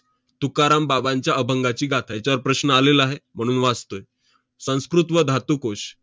तुकाराम बाबांच्या अभंगाची गाथा याच्यावर प्रश्न आलेला आहे, म्हणून वाचतोय. संस्कृत व धातुकोश,